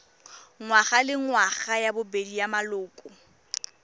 ngwagalengwaga ya bobedi ya maloko